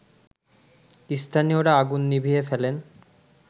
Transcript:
স্থানীয়রা আগুন নিভিয়ে ফেলেন